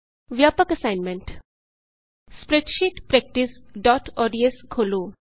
ਵਿਆਪਕ assignment spreadsheet practice ODS spreadsheet practiceਓਡੀਐਸ ਖੋਲ੍ਹੋ